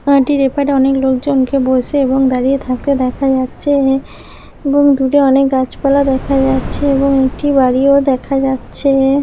Traffic রেফারে অনেক লোকজনকে বসে এবং দাঁড়িয়ে থাকলে দেখা যাচ্ছে এ ।এবং দূরে অনেক গাছপালা দেখা যাচ্ছেএবং একটি বাড়িও দেখা যাচ্ছে এ ।